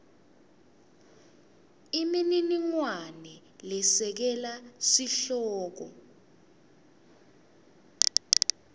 imininingwane lesekela sihloko